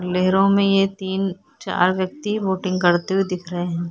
लेहरो में ये तीन चार व्यक्ति बोटिंग करते हुए दिख रहे है।